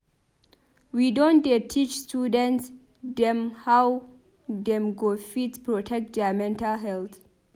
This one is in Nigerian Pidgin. We don dey teach student dem how dem go fit protect their mental health.